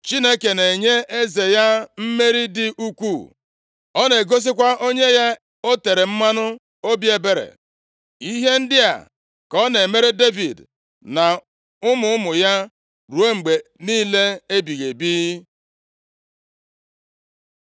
“Chineke na-enye eze ya mmeri dị ukwuu. Ọ na-egosikwa onye ya o tere mmanụ obi ebere. Ihe ndị a ka ọ na-emere Devid na ụmụ ụmụ ya, ruo mgbe niile ebighị ebi.”